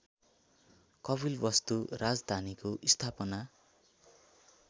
कपिलवस्तु राजधानीको स्थापना